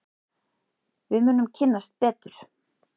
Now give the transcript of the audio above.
Við munum kynnast betur.